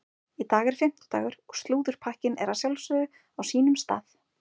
Í dag er fimmtudagur og slúðurpakkinn er að sjálfsögðu á sínum stað.